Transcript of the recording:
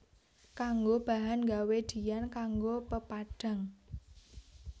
Kanggo bahan gawé diyan kanggo pepadhang